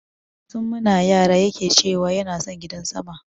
Tun muna yara yake ce wa yana son gidan sama